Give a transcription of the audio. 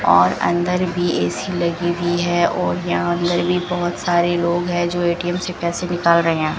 और अंदर भी ए_सी लगी हुई है और यहां अंदर भी बहोत सारे लोग है जो ए_टी_एम से पैसे निकाल रहे हैं।